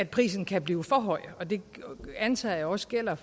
prisen kan blive for høj det antager jeg også gælder